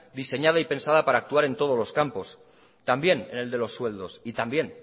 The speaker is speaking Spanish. diseñada y pensada para actuar en todos los campos también en el de los sueldos y también